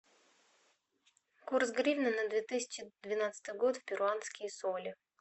курс гривны на две тысячи двенадцатый год в перуанские соли